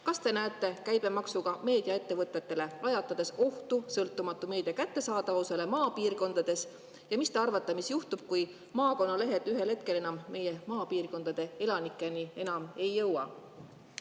Kas te näete käibemaksuga meediaettevõtetele lajatades ohtu sõltumatu meedia kättesaadavusele maapiirkondades ja mis te arvate, mis juhtub, kui maakonnalehed ühel hetkel enam meie maapiirkondade elanikeni ei jõua?